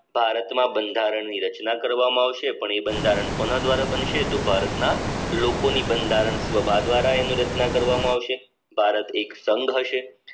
ભારતમાં બંધારણીય રચના કરવામાં આવશે પણ એ બંધારણ કોના દ્વારા બનશે તો ભારતના લોકોની બંધારણ ભાગ દ્વારા એનું રચના કરવામાં આવશે ભારત એક સંઘ હશે